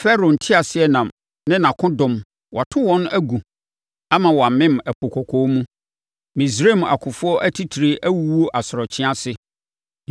Farao nteaseɛnam ne nʼakodɔm, wato wɔn agu Ama wɔamem Ɛpo Kɔkɔɔ mu. Misraim akofoɔ atitire awuwu asorɔkye ase.